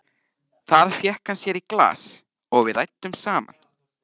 Þar fékk hann sér í glas og við ræddum saman.